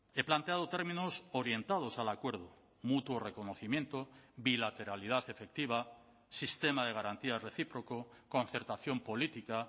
he planteado términos orientados al acuerdo mutuo reconocimiento bilateralidad efectiva sistema de garantía recíproco concertación política